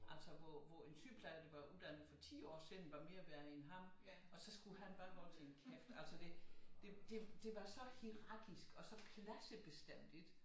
Altså hvor en sygeplejer der var uddannet for 10 år siden var mere værd end ham og så skulle han bare holde sin kæft altså det det var så hierarkisk og så klassebestemt